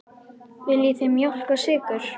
Viljið þið mjólk og sykur?